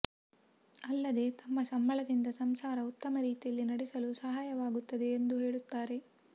ಅಲ್ಲದೆ ತಮ್ಮ ಸಂಬಳದಿಂದ ಸಂಸಾರ ಉತ್ತಮ ರೀತಿಯಲ್ಲಿ ನಡೆಸಲು ಸಹಾಯವಾಗುತ್ತದೆ ಎಂದೂ ಹೇಳುತ್ತಾರೆ